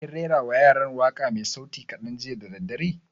Kin rera wa yaran waƙa mai sauti kaɗan jiya da daddare?